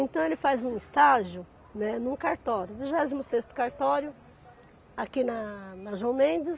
Então ele faz um estágio, né, num cartório, vigésimo sexto cartório, aqui na na João Mendes,